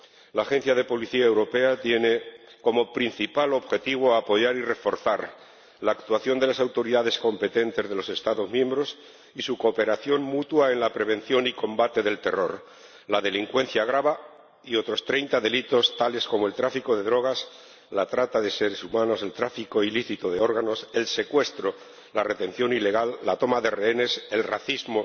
La Agencia de la Unión Europea para la cooperación policial tiene como principal objetivo apoyar y reforzar la actuación de las autoridades competentes de los Estados miembros y su cooperación mutua en la prevención y combate del terror, la delincuencia grave y otros treinta delitos, tales como el tráfico de drogas, la trata de seres humanos, el tráfico ilícito de órganos, el secuestro, la retención ilegal, la toma de rehenes, el racismo